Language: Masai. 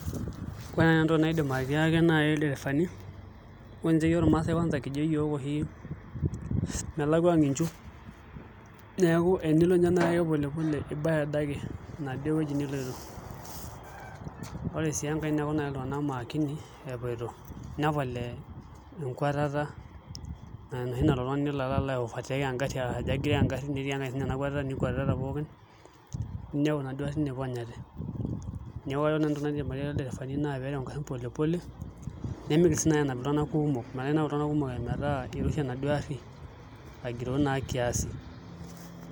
Ore naai entoki nanu naidim atiaki ildirifani ore taanche iyiook irmaasae kwanza kijp iyiook oshi melakua ang' inchu neeku enilo ninye ake pole pole ibaya adake enaduo wueji niloito ore sii enkae neeku naai iltung'anak maakini epoito nepal ee enkuatata enoshi naa nelo oltung'ani aiovertake engarri ajo agiroo engarri netii enkae siinye nakwatita nikwatitata pookin ninepu inaduo arrin iponyate neeku entoki nagira airai kulo dirifani naa nchere pee ereu ngarrin pole pole nemiigil sii naai anap iltung'anak kuumok metaa inap iltung'anak kumok metaa iroshi enaduo arri agiroo naa kiasi.